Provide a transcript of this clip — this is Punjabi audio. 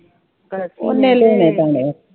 ਉਹਨੇ